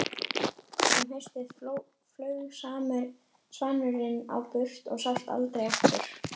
Um haustið flaug svanurinn á braut og sást aldrei aftur.